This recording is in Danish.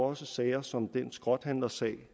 også sager som den skrothandlersag